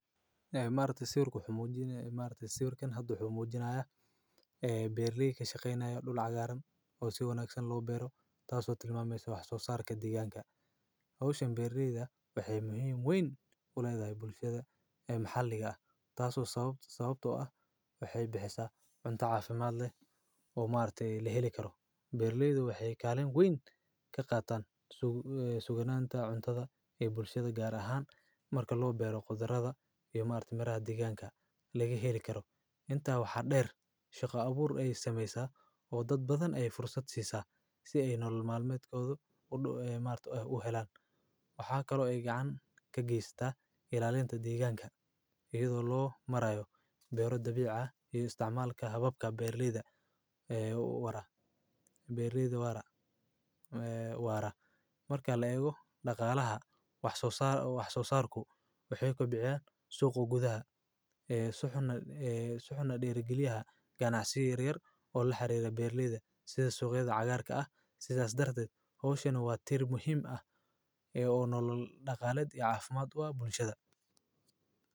Haay. Maalinta siurku xumuudinaya ibmaarita siurkan haddu xumuudinaya ee beerliyay ka shaqeynayay dhul cagaaran oo sii wanaagsan loo beero, taasoo tilmaamayso wax soo saarka deegaanka. Hawshaya beerliyada waxay muhiim weyn ula edey bulshada ee maxalliga ah. Taasoo sababto ah waxay bixisa cunto caafimaad leh oo maaltii la heli karo. Beerliyadu waxay kaalin weyn ka qaataan suuganaanta cuntada iyo bulshada gaar ahaan marka loo beero qudarada iyo maaltii mara deegaanka laga heli karo. Intaa waxa dheer shaqo abuur ay sameysaa oo dad badan ay fursad siisa si ay nolol maalmeedka udu-uudhu ee maalinta ah u helaan. Waxaa kaloo ay gacan ka giystaa ilaalinta deegaanka iyadoo loo marayo beeroo dabiic ah iyo isticmaalka hababka beerliyada ee u wara. Beerliyadu waara eh, waara. Markaa la eego dhaqaalaha, wax soo saar wax soo saarku waxay kubiciyaan suuq ugudaha eh, saxuuna dhiri geliyaha ganacsiga reer oo la xiriira beerliyada sida suuqyadu cagaarka ah si taas darted. Hawshaynu waa tiir muhiim ah ee uu nololo dhaqaaleed iyo caafimaad u ah bulshada.